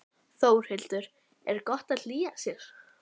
Þórhildur: Er gott að hlýja sér?